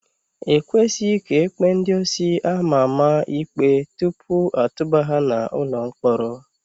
Ekwesịghị ka ekpee ndị osi ama ama ikpe tupu atụba ha n'ụlọ mkpọrọ.